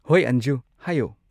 ꯍꯣꯢ ꯑꯟꯖꯨ! ꯍꯥꯏꯌꯣ꯫